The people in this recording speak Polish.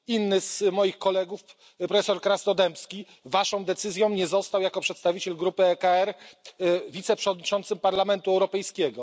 Inny z moich kolegów, profesor Krasnodębski, Waszą decyzją nie został jako przedstawiciel grupy ECR wiceprzewodniczącym Parlamentu Europejskiego.